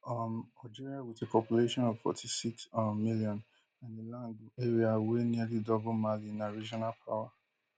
um algeria wit a population of forty-six um million and a land area wey nearly double mali na regional power